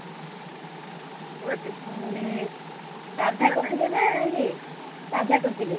ରାଧା କହୁଛି ମାନେ ଇଏ ସାଧା କରିଥିଲେ